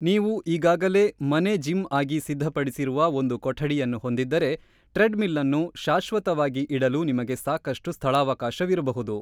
ನೀವು ಈಗಾಗಲೇ ಮನೆ ಜಿಮ್ ಆಗಿ ಸಿದ್ಧಪಡಿಸಿರುವ ಒಂದು ಕೊಠಡಿಯನ್ನು ಹೊಂದಿದ್ದರೆ, ಟ್ರೆಡ್‌ಮಿಲ್‌ನ್ನು ಶಾಶ್ವತವಾಗಿ ಇಡಲು ನಿಮಗೆ ಸಾಕಷ್ಟು ಸ್ಥಳಾವಕಾಶವಿರಬಹುದು.